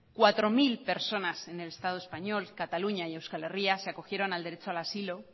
cuatro mil personas en el estado español cataluña y euskal herria se acogieron al derecho al asilo